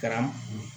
Kɛra